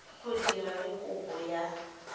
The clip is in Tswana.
go dira le kopo ya